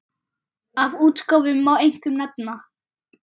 Af útgáfum má einkum nefna